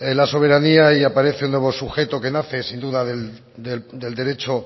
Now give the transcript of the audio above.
la soberanía y aparece un nuevo sujeto que nace sin duda del derecho